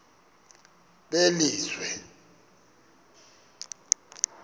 belizwe